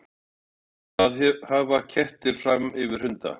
Hjörtur: Hvað hafa kettir fram yfir hunda?